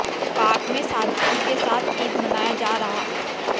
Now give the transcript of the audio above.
पाक में सादगी के साथ ईद मनाया जा रहा